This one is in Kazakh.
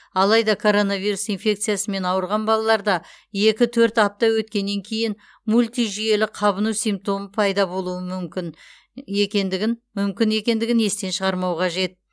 алайда коронавирус инфекциясымен ауырған балалаларда екі төрт апта өткеннен кейін мультижүйелі қабыну симптомы пайда болуы мүмкін екендігін мүмкін екендігін естен шығармау қажет